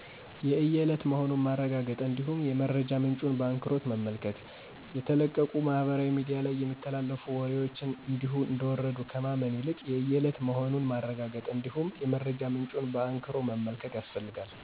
የየእለት መሆኑን ማረጋገጥ እንዲሁም የመረጃ ምንጩን በአንክሮ መመልከት